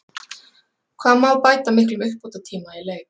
Hvað má bæta miklum uppbótartíma í leik?